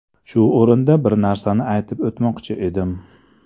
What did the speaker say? Shu o‘rinda bir narsani aytib o‘tmoqchi edim.